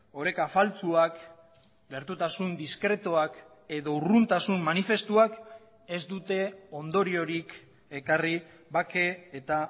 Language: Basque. oreka faltsuak gertutasun diskretuak edo urruntasun manifestuak ez dute ondoriorik ekarri bake eta